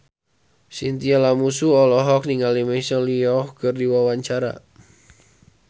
Chintya Lamusu olohok ningali Michelle Yeoh keur diwawancara